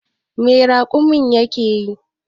Me raƙumin yake yi?